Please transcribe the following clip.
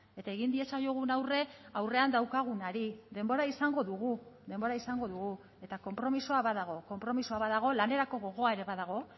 eta egin diezaiogun aurre aurrean daukagunari denbora izango dugu denbora izango dugu eta konpromisoa badago konpromisoa badago lanerako gogoa ere badago